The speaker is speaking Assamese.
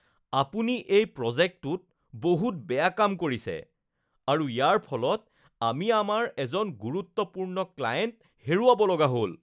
আপুনি এই প্ৰজেক্টটোত বহুত বেয়া কাম কৰিছে আৰু ইয়াৰ ফলত আমি আমাৰ এজন গুৰুত্বপূৰ্ণ ক্লায়েণ্ট হেৰুৱাবলগীয়া হ'ল।